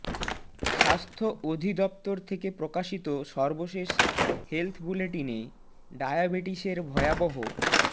স্বাস্থ্য অধিদপ্তর থেকে প্রকাশিত সর্বশেষ হেলথ বুলেটিনে ডায়াবেটিসের ভয়াবহ